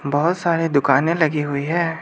बहुत सारे दुकाने लगी हुई है।